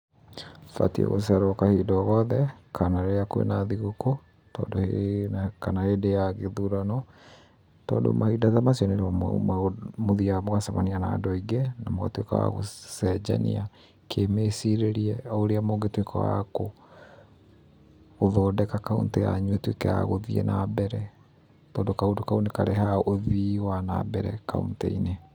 Batiĩ gũceera kahinda o goothe, kana rĩrĩa kwĩ na thigũkũ, kana hĩndĩ ya gĩthurano, tondũ mahinda ta macio nĩ rĩo mũthiaga mũgacemania na andũ aingĩ na mũgatuĩka a gũcenjania kĩ mĩcirĩrie ũrĩa mũngĩtuĩka a gũthondeka cauntĩ yanyu ĩtuĩke ya gũthiĩ na mbere tondũ kaũndũ kau nĩ karehaga ũthii wa na mbere cauntĩ-inĩ.